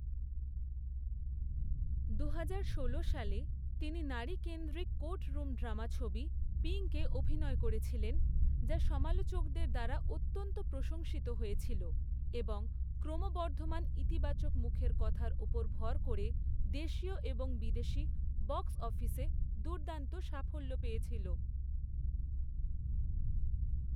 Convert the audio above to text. দুহাজার ষোলো সালে, তিনি নারী কেন্দ্রিক কোর্টরুম ড্রামা ছবি 'পিঙ্ক'এ অভিনয় করেছিলেন, যা সমালোচকদের দ্বারা অত্যন্ত প্রশংসিত হয়েছিল, এবং ক্রমবর্ধমান ইতিবাচক মুখের কথার ওপর ভর করে, দেশীয় এবং বিদেশী বক্স অফিসে দুর্দান্ত সাফল্য পেয়েছিল।